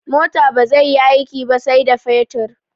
Mota bazai yi aiki ba sai da fetur